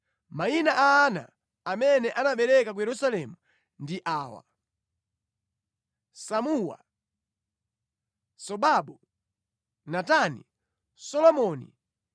Mayina a ana amene anabereka ku Yerusalemu ndi awa: Samua, Sobabu, Natani, Solomoni,